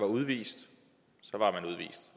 udvist